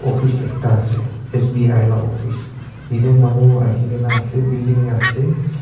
fis ekta ase SBI la office yatae manu ahina ase building ase.